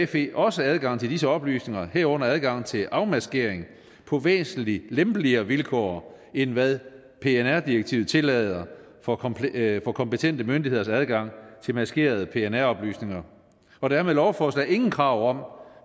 fe også adgang til disse oplysninger herunder adgang til afmaskering på væsentlig lempeligere vilkår end hvad pnr direktivet tillader for kompetente for kompetente myndigheders adgang til maskerede pnr oplysninger og der er med lovforslaget ingen krav